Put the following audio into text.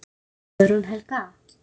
Guðrún Helga.